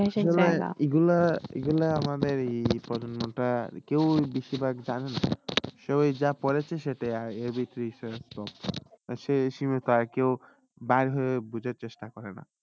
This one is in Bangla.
এগুলা এগুলা আমাদের ই প্রশ্নটা কেউ বেশি ভাগ যানে না সবাই যা পড়েছে সেটাই সেটাই সীমিত আর কেউ বার হয়ে বোঝার চেষ্টা করেনা।